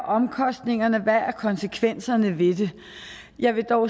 omkostningerne er hvad konsekvenserne er ved det jeg vil dog